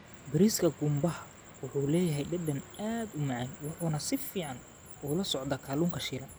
Bariiska qumbaha wuxuu leeyahay dhadhan aad u macaan wuxuuna si fiican ula socdaa kalluunka shiilan.